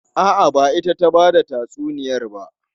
A'a, ba ita ta ba da tatsuniyar ba.